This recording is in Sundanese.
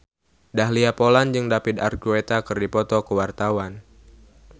Dahlia Poland jeung David Archuletta keur dipoto ku wartawan